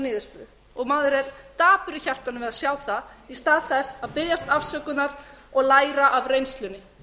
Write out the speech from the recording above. niðurstöðu maður er dapur í hjartanu við að sjá það í stað þess að biðjast afsökunar og læra af reynslunni